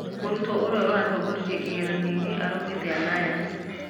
Murutwo urĩa uratoongoretie kigeranio araumĩte aliance